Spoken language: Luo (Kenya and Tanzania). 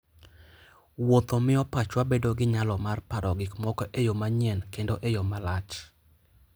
Wuotho miyo pachwa bedo gi nyalo mar paro gik moko e yo manyien kendo e yo malach.